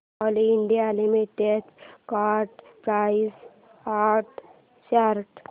Coal India Limited stock price and chart